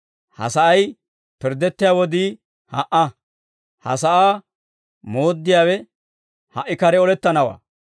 Ha sa'ay pirddettiyaa wodii ha"a; ha sa'aa mooddiyaawe ha"i kare olettanawaa.